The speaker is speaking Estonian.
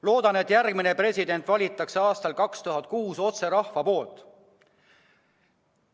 Loodan, et järgmine president valitakse aastal 2006 otse rahva poolt.